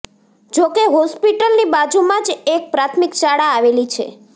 જો કો હોસ્પિટલની બાજુમાં જ એક પ્રાથમિક શાળા આવેલી છે